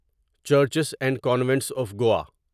churches and convents of Goa